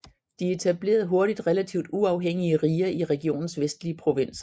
De etablerede hurtigt relativt uafhængige riger i regionens vestlige provinser